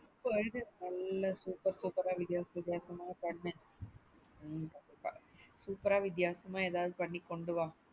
நல்ல super super ஆ வித்யாசம் வித்யாசமா பண்ணு super ஆ வித்யாசாமா ஏதாது பண்ணிக் கொண்டு வா.